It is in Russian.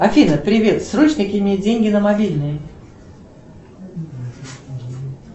афина привет срочно кинь мне деньги на мобильный